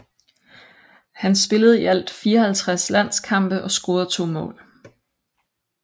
Han spillede i alt 54 landskampe og scorede to mål